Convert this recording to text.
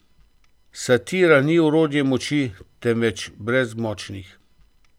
Satira ni orodje moči, temveč brezmočnih.